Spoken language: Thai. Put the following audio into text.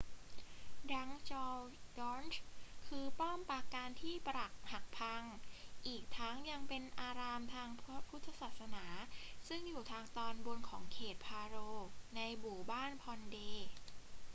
drukgyal dzong คือป้อมปราการที่ปรักหักพัง อีกทั้งยังเป็นอารามทางพระพุทธศาสนาซึ่งอยู่ทางตอนบนของเขต paro ในหมู่บ้าน phondey